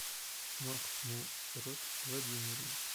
махмурод владимирович